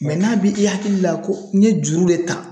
Mɛ n'a bi i hakili la ko n ye juru de ta